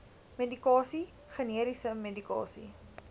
medikasie generiese medikasie